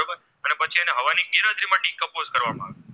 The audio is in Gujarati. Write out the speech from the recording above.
Course કરવામાં આવે